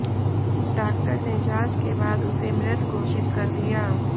doctor ने जांच के बाद उसे मृत घोषित कर दिया